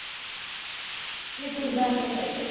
ସେ ପୁରା enjoy କରିବ